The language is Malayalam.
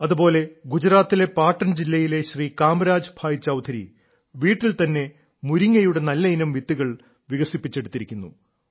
അതുപോലെ ഗുജറാത്തിലെ പാട്ടൻ ജില്ലയിലെ ശ്രീ കാമരാജ് ഭായ് ചൌധരി വീട്ടിൽ തന്നെ മുരിങ്ങയുടെ നല്ലയിനം വിത്തുകൾ വികസിപ്പിച്ചെടുത്തിരിക്കുന്നു